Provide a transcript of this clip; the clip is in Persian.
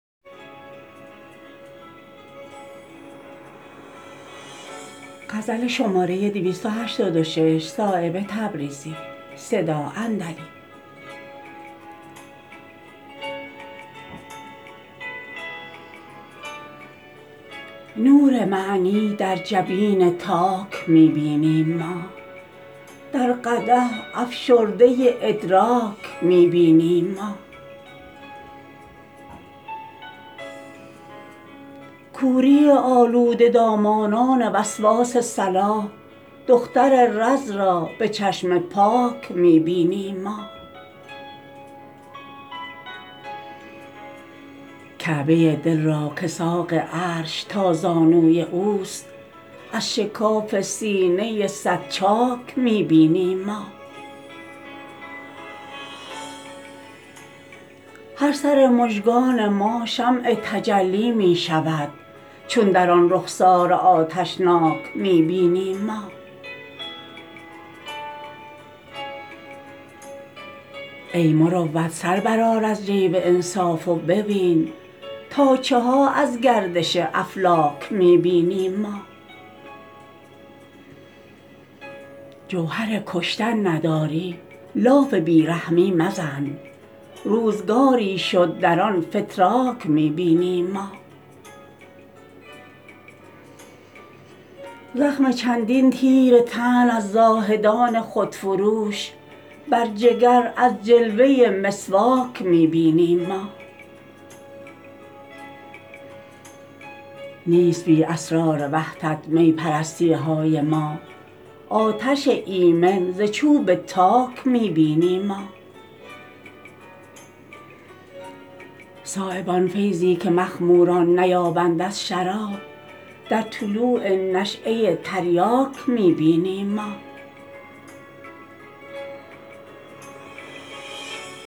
نور معنی در جبین تاک می بینیم ما در قدح افشرده ادراک می بینیم ما کوری آلوده دامانان وسواس صلاح دختر رز را به چشم پاک می بینیم ما کعبه دل را که ساق عرش تا زانوی اوست از شکاف سینه صد چاک می بینیم ما هر سر مژگان ما شمع تجلی می شود چون در آن رخسار آتشناک می بینیم ما ای مروت سر برآر از جیب انصاف و ببین تا چها از گردش افلاک می بینیم ما جوهر کشتن نداری لاف بی رحمی مزن روزگاری شد در آن فتراک می بینیم ما زخم چندین تیر طعن از زاهدان خودفروش بر جگر از جلوه مسواک می بینیم ما نیست بی اسرار وحدت می پرستی های ما آتش ایمن ز چوب تاک می بینیم ما صایب آن فیضی که مخموران نیابند از شراب در طلوع نشیه تریاک می بینیم ما